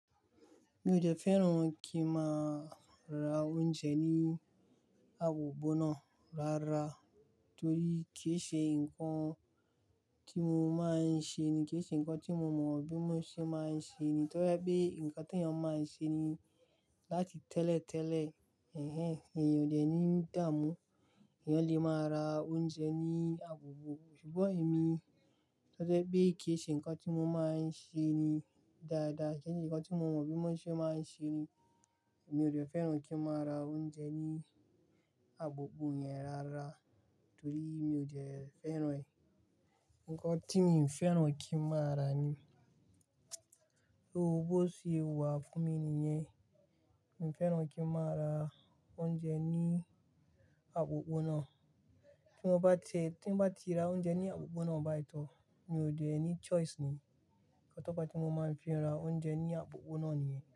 Mi ò jẹ́ fẹ́ràn kí n máa ra oúnjẹ ní àbò bó náà rárá torí kì í ṣe nǹkan tí mo máa ń ṣe ni, kì í ṣe nǹkan tí mo mọ bí mo ṣe máa ń ṣe ni. Torí pé nǹkan tí èèyàn máa ń ṣe ni láti tẹ́lẹ̀tẹ́lẹ̀, ẹ̀hen, èèyàn ò le ní dáàmú, èèyàn lè máa ra oúnjẹ ní àbò bó. Ṣùgbọ́n èmi, torí pé kì í ṣe nǹkan tí mo máa ń ṣe ni dáadáa, kì í ṣe nǹkan tí mo mọ bí mo ṣe máa ń ṣe ni. Mi ò jẹ́ fẹ́ràn kí n máa ra oúnjẹ ní àbò bó yẹn rárá torí mi ò jẹ́ fẹ́ràn ẹ̀. Ǹkan tí mi fẹ́ràn kí n máa rà ni, so bó ṣe wà fún mi nìyẹn, mi fẹ́ràn kí n máa ra oúnjẹ ní àkókò náà. Tí n bá ti ra oúnjẹ ni àkókò náà bá ì, mi ò de e ní choice ni. Ǹkan ti mo máa ń fi ra ounjẹ ní àpoponá nìyẹn.